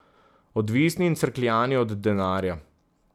Odvisni in crkljani od denarja.